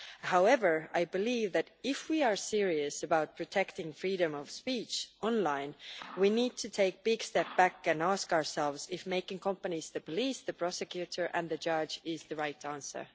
However, I believe that if we are serious about protecting freedom of speech online, we need to take a big step back and ask ourselves if making companies the police, the prosecutor and the judge is the right answer.